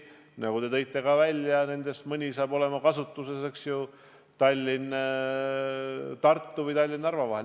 Nagu te ka ise välja tõite, siis mõnda nendest hakatakse kasutama Tallinna–Tartu või Tallinna–Narva vahel.